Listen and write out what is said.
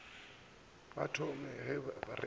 ba thome ba re ba